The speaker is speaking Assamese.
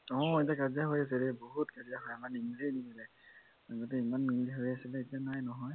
অ এতিয়া কাজিয়া হৈ আছে বহুত কাজিয়া নিমিলেহে নিমিলেহে আগতে ইমান মিল হৈ আছিলে এতিয়া নাই